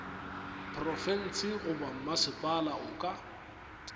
profense goba mmasepala o ka